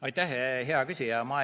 Aitäh, hea küsija!